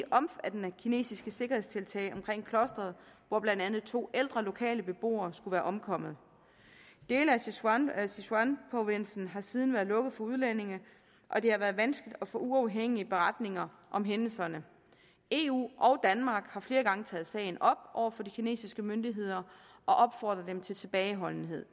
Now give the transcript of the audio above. omfattende kinesiske sikkerhedstiltag omkring klosteret hvor blandt andet to ældre lokale beboere skulle være omkommet dele af sichuanprovinsen har siden været lukket for udlændinge og det har været vanskeligt at få uafhængige beretninger om hændelserne eu og danmark har flere gange taget sagen op over for de kinesiske myndigheder og opfordrer dem til tilbageholdenhed